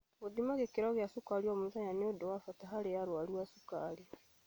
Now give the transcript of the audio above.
Gũthima gĩkĩro gia cukari o mũthenya nĩ ũndu wa bata harĩ arwaru a cukari.